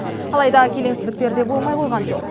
алайда келеңсіздіктер де болмай қойған жоқ